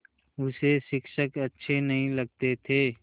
उसे शिक्षक अच्छे नहीं लगते थे